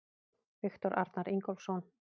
Viktor Arnar Ingólfsson